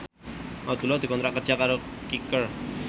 Abdullah dikontrak kerja karo Kicker